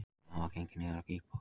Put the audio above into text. Þaðan var gengið niður á gígbotninn